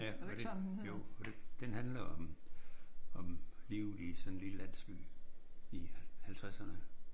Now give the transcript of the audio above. Ja. Jo. Og den handler om om livet i sådan en lille landsby i 50'erne